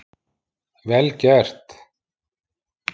Vel gert!